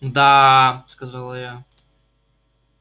мда-а-а-а сказала я